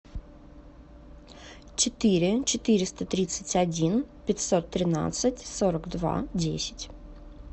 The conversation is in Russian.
четыре четыреста тридцать один пятьсот тринадцать сорок два десять